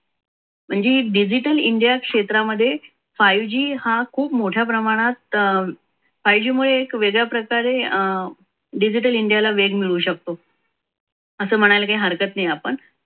म्हणजे हे digital india क्षेत्रामध्ये five g हा अं खूप मोठ्या प्रमाणात five g मुळे हे वेगळ्या प्रकारे अं digital india ला वेग मिळू शकतो असं म्हणायला काही हरकत नाही आपण